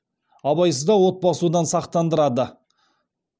абайсызда от басудан сақтандырады